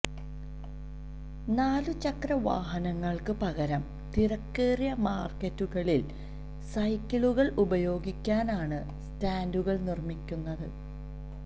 നാല് ചക്ര വാഹനങ്ങള്ക്ക് പകരം തിരക്കേറിയ മാര്ക്കറ്റുകളില് സൈക്കിളുകള് ഉപയോഗിക്കാനാണ് സ്റ്റാന്ഡുകള് നിര്മിക്കുന്നത്